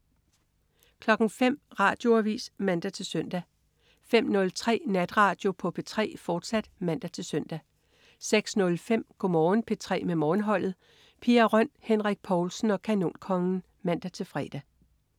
05.00 Radioavis (man-søn) 05.03 Natradio på P3, fortsat (man-søn) 06.05 Go' Morgen P3 med Morgenholdet. Pia Røn, Henrik Povlsen og Kanonkongen (man-fre)